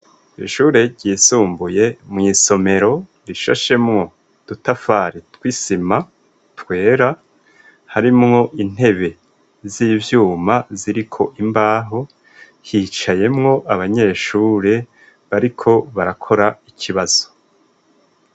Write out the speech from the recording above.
Ishure ryisumbuye mu isomero rishashemwo udutafare twisima twera harimwo intebe z'ibyuma ziriko imbaho hicayemwo abanyeshure bariko barakora ikibazo.